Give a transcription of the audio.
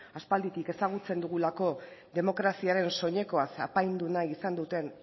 aspalditik ezagutzen dugulako demokraziaren soinekoaz apaindu nahi izan duten